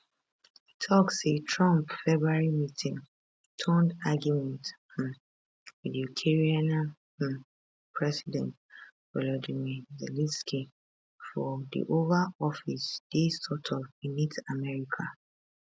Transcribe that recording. e tok say trump february meetingturnedargument um wit ukrainian um president volodymyr zelensky for di oval office dey sort of beneath america